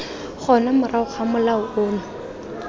gona morago ga molao ono